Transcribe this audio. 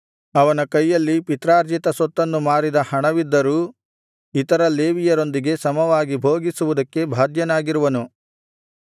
ಅವನ ಕೈಯಲ್ಲಿ ಪಿತ್ರಾರ್ಜಿತ ಸೊತ್ತನ್ನು ಮಾರಿದ ಹಣವಿದ್ದರೂ ಇತರ ಲೇವಿಯರೊಂದಿಗೆ ಸಮವಾಗಿ ಭೋಗಿಸುವುದಕ್ಕೆ ಬಾಧ್ಯನಾಗಿರುವನು